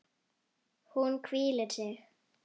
Hún hvílir sig.